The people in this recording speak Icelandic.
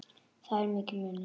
Þar er mikill munur.